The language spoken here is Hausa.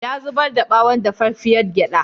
Ya zubar ɓawon dafaffiyar gyaɗa.